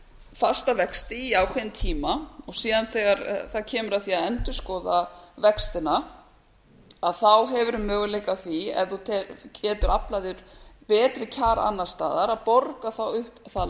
fasta vexti í ákveðinn tíma og síðan þegar það kemur að því að endurskoða vextina hefurðu möguleika á því ef þú getur aflað þér betri kjara annars staðar að borga þá upp það